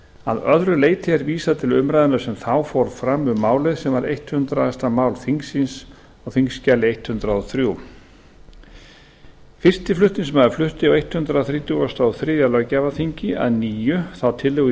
að öðru leyti er vísað til umræðunnar sem þá fór fram um málið sem var hundrað mál þingsins þingskjal hundrað og þrír fyrsti flutningsmaður flutti á hundrað þrítugasta og þriðja löggjafarþingi að nýju þá tillögu í